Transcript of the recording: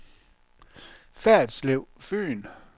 Ferritslev Fyn